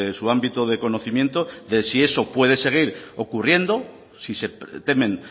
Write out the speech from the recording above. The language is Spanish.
su ámbito de conocimiento de si eso puede seguir ocurriendo si se temen